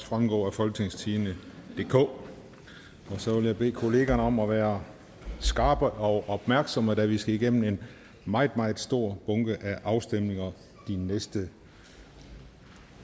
fremgå af folketingstidende DK så vil jeg bede kollegaerne om at være skarpe og opmærksomme da vi skal igennem en meget meget stor bunke afstemninger de næste